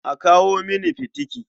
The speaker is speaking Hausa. A kawo mini fitiki.